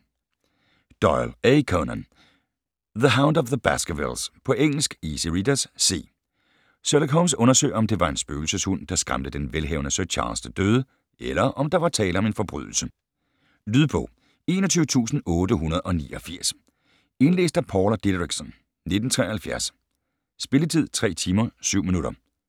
Doyle, A. Conan: The hound of the Baskervilles På engelsk. Easy readers, C. Sherlock Holmes undersøger, om det var en spøgelseshund, der skræmte den velhavende Sir Charles til døde, eller om der var tale om en forbrydelse. Lydbog 21889 Indlæst af Paula Dideriksen, 1973. Spilletid: 3 timer, 7 minutter.